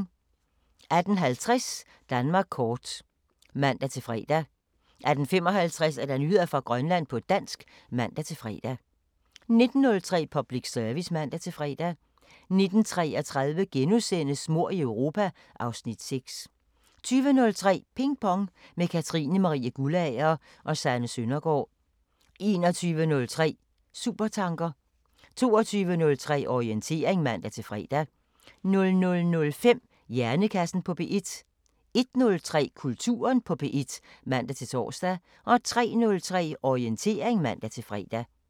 18:50: Danmark kort (man-fre) 18:55: Nyheder fra Grønland på dansk (man-fre) 19:03: Public Service (man-fre) 19:33: Mord i Europa (Afs. 6)* 20:03: Ping Pong – med Katrine Marie Guldager og Sanne Søndergaard 21:03: Supertanker 22:03: Orientering (man-fre) 00:05: Hjernekassen på P1 01:03: Kulturen på P1 (man-tor) 03:03: Orientering (man-fre)